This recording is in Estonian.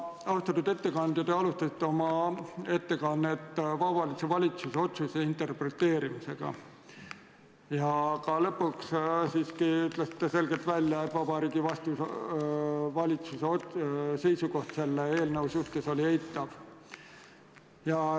Austatud ettekandja, te alustasite oma ettekannet Vabariigi Valitsuse otsuse interpreteerimisega ja lõpuks ütlesite selgelt välja, et Vabariigi Valitsuse seisukoht selle eelnõu suhtes oli eitav.